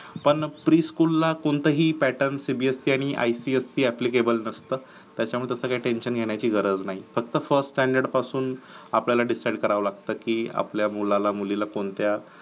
पण pre school ला कोणतं ही pattern cbse आणि ipsc applicable नसत. त्याच्याबद्दल काही tension घेण्याची गरज नाही. फक्त first standard पासून आपल्याला decide कराव लागत की आपल्या मुलाला मुलीला कोणत्या